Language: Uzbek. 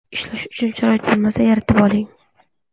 Ishlash uchun sharoit bo‘lmasa, yaratib oling.